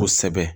Kosɛbɛ